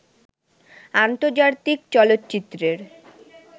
আন্তর্জাতিক চলচ্চিত্রের